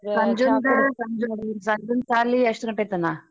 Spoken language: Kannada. ಸಂಜುನ್ ಸಾಲಿ ಎಷ್ಟ್ ಗಂಟೆತನ?